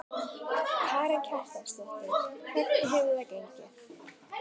Karen Kjartansdóttir: Hvernig hefur það gengið?